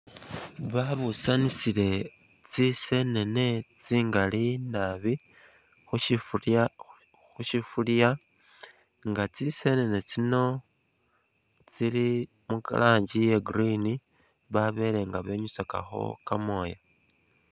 Babusanisile tsisenene tsingali nabi khu syifurya, khu syifurya nga tsisenene tsino tsili mu rangi iya Green babele nga benyusakakho kamooya.